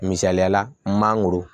Misaliyala mangoro